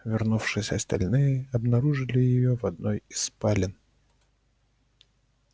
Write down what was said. вернувшись остальные обнаружили её в одной из спален